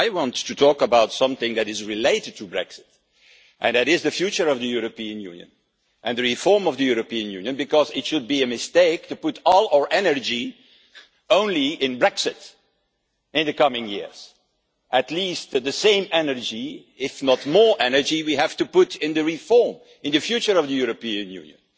I want to talk about something that is related to Brexit, and that is the future of the European Union and the reform of the European Union, because it would be a mistake to put all our energy only into Brexit in the coming years. At least the same energy, if not more energy, has to be put into the reform and the future of the European Union.